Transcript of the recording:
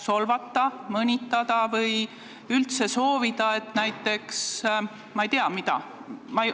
Solvata, mõnitada või soovida midagi muud, ma ei tea mida?